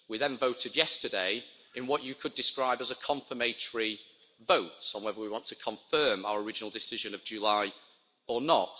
We then voted yesterday in what you could describe as a confirmatory vote on whether we want to confirm our original decision of July or not.